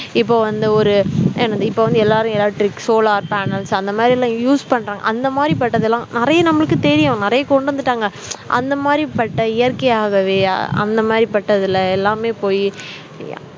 இப்போ வந்து ஒரு என்னது இப்ப வந்து எல்லாரும் எல்லா electric, solar panels அந்த மாதிரியெல்லாம் use பண்றாங்க அந்த மாதிரி பட்டதெல்லாம் நிறைய நம்மளுக்கு தெரியும் நிறைய கொண்டு வந்துட்டாங்க அந்த மாதிரி பட்ட இயற்கையாகவே அந்த மாதிரி பட்டதுல எல்லாமே போயி